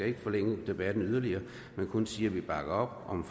ikke forlænge debatten yderligere men kun sige at vi bakker op om